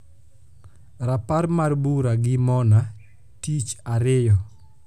rapar mar bura gi mona tich ariyo